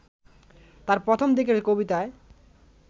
তার প্রথম দিকের কবিতায়